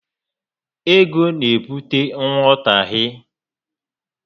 Ego n'ebute nghọtahie